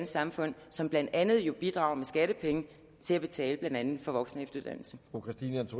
samfund som blandt andet jo bidrager med skattepenge til at betale blandt andet for voksen